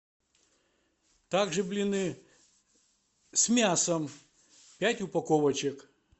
также блины с мясом пять упаковочек